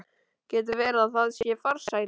Getur verið að það sé farsælla?